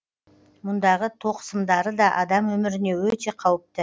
мұндағы тоқ сымдары да адам өміріне өте қауіпті